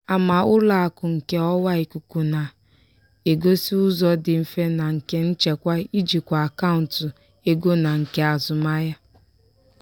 ama ụlọ akụ nke ọwa ikuku na-egosị ụzọ dị mfe na nke nchekwa ijikwa akaụntụ ego na nke azụmahịa.